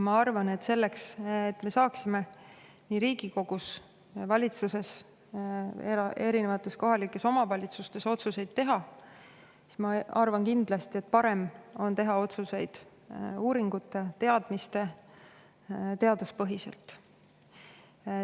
Ma arvan, et nii Riigikogus, valitsuses kui ka erinevates kohalikes omavalitsustes on otsuseid kindlasti parem teha uuringute, teadmiste ja teaduse põhjal.